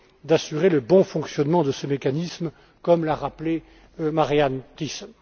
d'assurer le bon fonctionnement de ce mécanisme, comme l'a rappelé Marianne Thyssen.